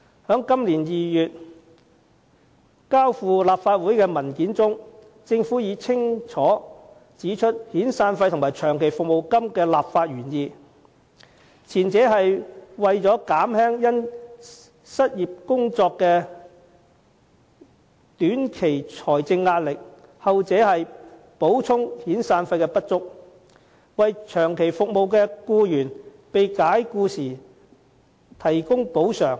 在今年2月提交立法會的文件中，政府已清楚指出遣散費及長期服務金的立法原意，前者是為了減輕因失去工作的短期財政壓力，後者是補充遣散費的不足，為長期服務的僱員被解僱時提供補償。